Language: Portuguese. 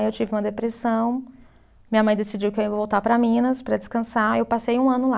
Aí eu tive uma depressão, minha mãe decidiu que eu ia voltar para Minas para descansar e eu passei um ano lá.